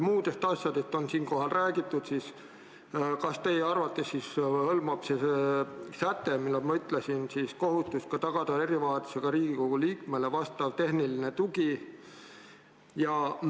Muudest asjadest on siinkohal juba räägitud, aga kas teie arvates hõlmab see säte ka kohustust tagada erivajadusega Riigikogu liikmele vajalik tehniline tugi?